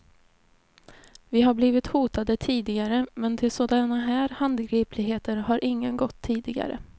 Vi har blivit hotade tidigare, men till sådana här handgripligheter har ingen gått tidigare.